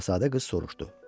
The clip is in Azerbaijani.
Şahzadə qız soruşdu.